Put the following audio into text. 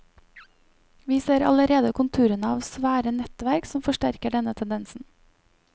Vi ser allerede konturene av svære nettverk som forsterker denne tendensen.